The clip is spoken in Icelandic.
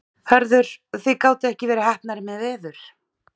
Hörður, þið gátuð ekki verið heppnari með veður?